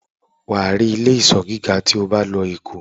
wà á rí ilé-ìsọ́ gíga tí o bá lọ Èkó.